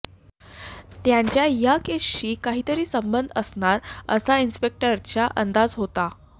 त्यांचा ह्या केसशी काहितरी संबध असणार असा इन्स्पेक्टरचा अंदाज होता